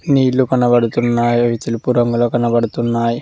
నీళ్లు కనపడుతున్నాయి అవి తెలుపు రంగులో కనబడుతున్నాయి.